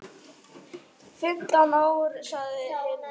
Fimmtán ár, sagði Hilmar.